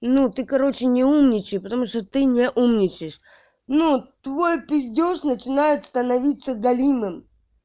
ну ты короче не умничай потому что ты не умничаешь ну твой пиздёж начинает становиться плохим